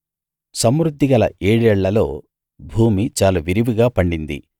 సమృద్ధిగల ఏడేళ్ళలో భూమి చాలా విరివిగా పండింది